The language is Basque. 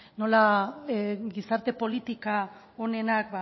nola gizarte politika onenak